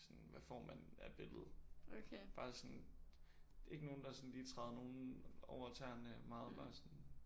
Sådan hvad får man af billede. Bare sådan ikke nogen der sådan lige træder nogen over tæerne meget bare sådan